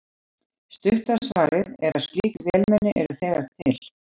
Stutta svarið er að slík vélmenni eru þegar til.